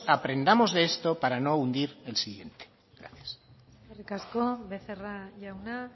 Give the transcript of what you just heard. aprendamos de esto para no hundir el siguiente gracias eskerrik asko becerra jauna